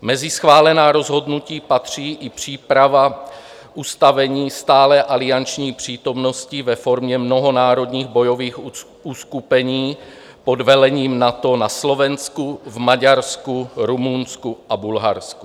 Mezi schválená rozhodnutí patří i příprava ustavení stálé alianční přítomnosti ve formě mnohonárodních bojových uskupení pod vedením NATO na Slovenku, v Maďarsku, Rumunsku a Bulharsku.